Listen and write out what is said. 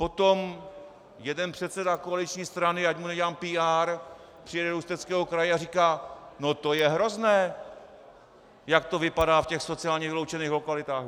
Potom jeden předseda koaliční strany, ať mu nedělám PR, přijede do Ústeckého kraje a říká: No to je hrozné, jak to vypadá v těch sociálně vyloučených lokalitách.